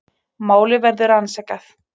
Málið verður rannsakað